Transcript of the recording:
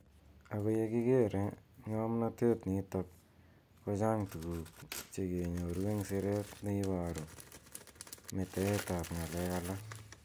Ako ye kikere nga mnatet nitok ko chang tuku che kenyoru eng siret ne ibaru ,metaet ab ngalek alak.